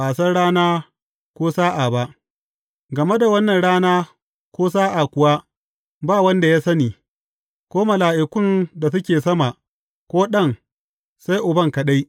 Ba a san rana ko sa’a ba Game da wannan rana ko sa’a kuwa, ba wanda ya sani, ko mala’ikun da suke sama, ko Ɗan, sai Uban kaɗai.